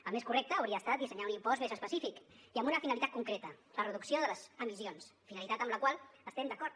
el més correcte hauria estat dissenyar un impost més específic i amb una finalitat concreta la reducció de les emissions finalitat amb la qual estem d’acord